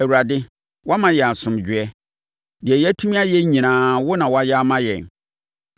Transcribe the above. Awurade, woama yɛn asomdwoeɛ; deɛ yɛatumi ayɛ nyinaa wo na woayɛ ama yɛn.